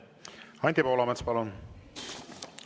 Anti Poolamets, palun!